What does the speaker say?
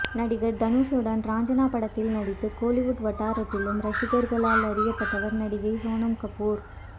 நடிகர் தனுஷுடன் ராஞ்சனா படத்தில் நடித்து கோலிவுட் வட்டாரத்திலும் ரசிகர்களால் அறியப்பட்டவர் நடிகை சோனம் கபூர்